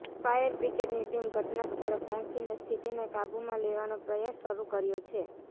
fire બ્રિગેડની team ઘટનાસ્થળે પહોંચીને સ્થિતિને કાબૂમાં લેવાનો પ્રયાસ શરૂ કર્યો છે